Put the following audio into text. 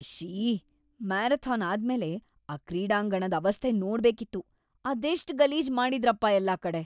ಇಶ್ಶೀ! Marathon ಆದ್ಮೇಲೆ ಆ ಕ್ರೀಡಾಂಗಣದ್ ಅವಸ್ಥೆ ನೋಡ್ಬೇಕಿತ್ತು, ಅದೆಷ್ಟ್ ಗಲೀಜ್‌ ಮಾಡಿದ್ರಪ ಎಲ್ಲಾ ಕಡೆ.